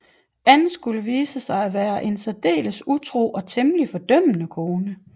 Ann skulle vise sig at være en særdeles utro og temmelig fordømmende kone